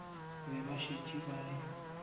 be ba šetše ba le